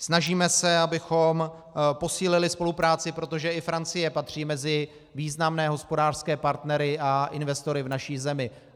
Snažíme se, abychom posílili spolupráci, protože i Francie patří mezi významné hospodářské partnery a investory v naší zemi.